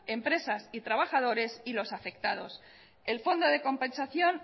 empresas y trabajadores y los afectados el fondo de compensación